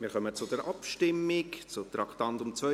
Wir kommen zur Abstimmung zum Traktandum 72.